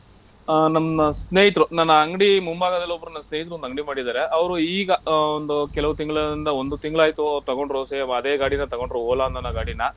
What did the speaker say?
ಆ ನಮ್ಮ ಸ್ನೇಹಿತ್ರು ನನ್ನ ಅಂಗ್ಡಿ ಮುಂಭಾಗದಲ್ಲೊಬ್ರು ನನ್ ಸ್ನೇಹಿತ್ರೊಂದು ಅಂಗ್ಡಿ ಮಾಡಿದ್ದಾರೆ ಅವ್ರು ಈಗ ಆ ಒಂದು ಕೆಲವು ತಿಂಗ್ಳುಯಿಂದ ಒಂದು ತಿಂಗ್ಳ್ ಆಯ್ತು ತಗೊಂಡ್ರು same ಅದೇ ಗಾಡಿನ ತಗೊಂಡ್ರು Ola ಅನ್ನೋ ಗಾಡಿನ.